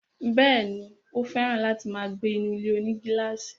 Bẹ́ẹ̀ni, ó fẹ̀ràn láti máa gbé inú ilé-onígílàsì